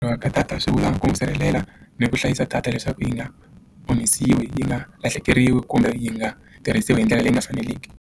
Wa data swivula ku n'wi sirhelela ni ku hlayisa data leswaku yi nga omisiwi yi nga lahlekeriwi kumbe yi nga tirhisiwa hi ndlela leyi nga faneleki.